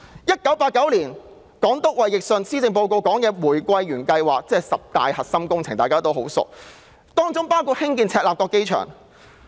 1989年，港督衞奕信在施政報告中提出玫瑰園計劃，亦即大家非常熟悉的十大核心工程，當中包括興建赤鱲角機場。